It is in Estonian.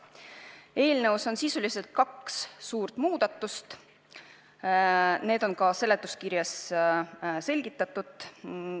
Eelnõus on sisuliselt kaks suurt muudatust, mida on ka seletuskirjas selgitatud.